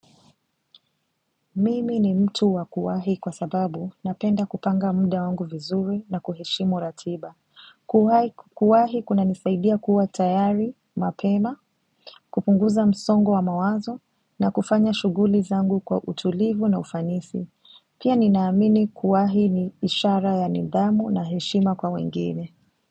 Mimi ni mtu wa kuwahi kwa sababu napenda kupanga muda wangu vizuri na kuheshimu ratiba Kuwahi kunanisaidia kuwa tayari, mapema, kupunguza msongo wa mawazo na kufanya shughuli zangu kwa utulivu na ufanisi Pia ninaamini kuwahi ni ishara ya nidhamu na heshima kwa wengine.